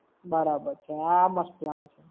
બરાબર છે. આ મસ્ત plan છે!